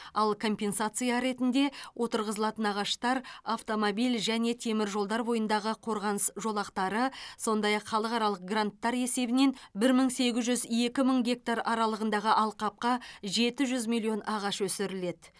ал компенсация ретінде отырғызылатын ағаштар автомобиль және теміржолдар бойындағы қорғаныс жолақтары сондай ақ халықаралық гранттар есебінен бір мың сегіз жүз екі мың гектар аралығындағы алқапқа жеті жүз миллион ағаш өсіріледі